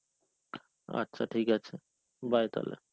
আচ্ছা ঠিক আছে. bye তাহলে.